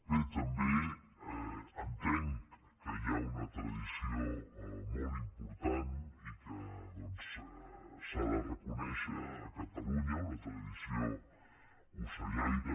bé també entenc que hi ha una tradició molt important i que doncs s’ha de reconèixer a catalunya una tradició ocellaire